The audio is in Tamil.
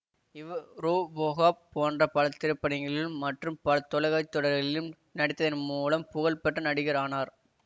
இவர் ரோபோகாப் போன்ற பல திரைப்படங்களிலும் மற்றும் பல தொலைக்காட்சி தொடர்களிலும் நடித்ததன் மூலம் புகழ் பெற்ற நடிகர் ஆனார்